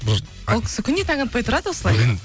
ол кісі күнде таң атпай тұрады осылай